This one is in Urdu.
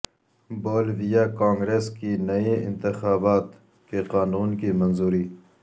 بولیویا کانگریس کی نئے انتخابات کے قانون کی منظوری